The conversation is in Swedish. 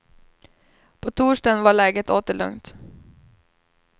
På torsdagen var läget åter lugnt.